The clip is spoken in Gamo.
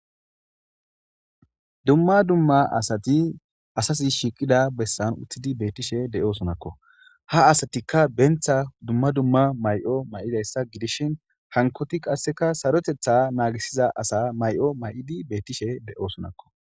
Dumma dumma asati asati shiqida besan uttidi bettishe de'osonakko ha asatikka dumma dumma mayo mayidaysa gidishin hankoti qaseka sarotetha nagisiza asa mayo mayidi bettishe de'osonakko